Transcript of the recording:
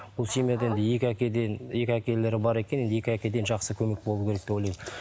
бұл семьяда енді екі әкеден екі әкелері бар екен енді екі әкеден жақсы көмек болу керек деп ойлаймын